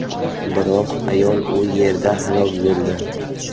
Biroq ayol u yerda halok bo‘ldi.